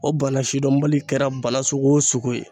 O bana sidɔnbali kɛra bana sugu o sugu ye.